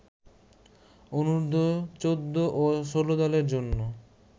অনুর্ধ-১৪ ও ১৬ দলের জন্য